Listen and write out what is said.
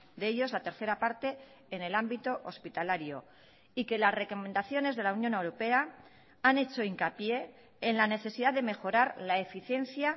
de ellos la tercera parte en el ámbito hospitalario y que las recomendaciones de la unión europea han hecho hincapié en la necesidad de mejorar la eficiencia